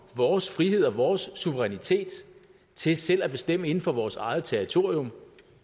vores frihed og vores suverænitet til selv at bestemme inden for vores eget territorium